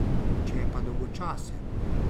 Če je pa dolgočasen.